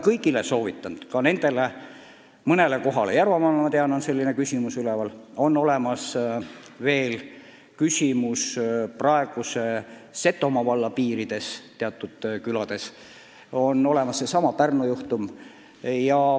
Järvamaal, ma tean, on selline küsimus üleval, samuti praeguse Setomaa valla piirides teatud külades ja siis veel seesama Pärnu juhtum.